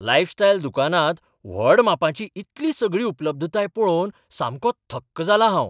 Lifestyle दुकानांत व्हड मापांची इतली सगळी उपलब्धताय पळोवन सामको थक्क जालां हांव.